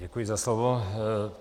Děkuji za slovo.